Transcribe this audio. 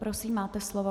Prosím, máte slovo.